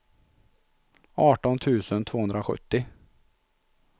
arton tusen tvåhundrasjuttio